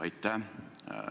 Aitäh!